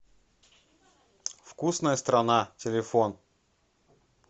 вкусная страна телефон